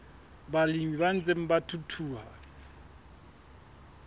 balemi ba ntseng ba thuthuha